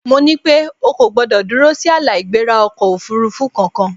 Mo ní pé O kò gbọdọ̀ dúró sí ààlà-ìgbéra ọkọ̀-òfurufú kankan!